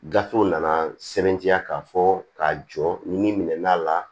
Gafew nana sɛbɛntiya k'a fɔ k'a jɔ ni min'a la